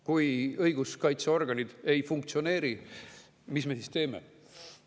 Kui õiguskaitseorganid ei funktsioneeri, mis me siis teeme?